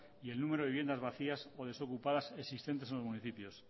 y el número de viviendas vacías o desocupadas existentes en los municipios